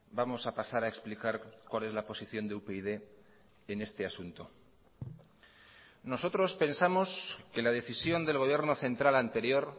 vamos a pasar a explicar cuál es la posición de upyd en este asunto nosotros pensamos que la decisión del gobierno central anterior